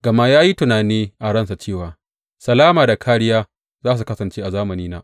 Gama ya yi tunani a ransa cewa, Salama da kāriya za su kasance a zamanina.